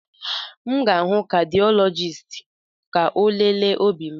M ga-aga hụ kadịọlọjisti ka ọ lelee obi m.